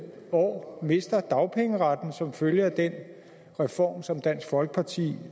år mister dagpengeretten som følge af den reform som dansk folkeparti